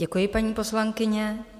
Děkuji, paní poslankyně.